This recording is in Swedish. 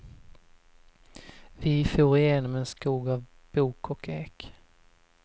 Vi for igenom en skog av bok och ek.